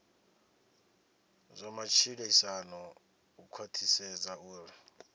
zwa matshilisano u khwathisedza uri